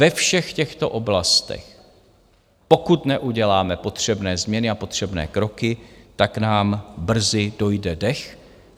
Ve všech těchto oblastech, pokud neuděláme potřebné změny a potřebné kroky, tak nám brzy dojde dech.